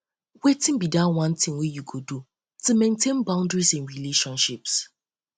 wetin be di one thing wey you go do to maintain healthy to maintain healthy boundaries in relationships